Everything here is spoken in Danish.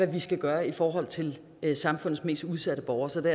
vi skal gøre i forhold til samfundets mest udsatte borgere så det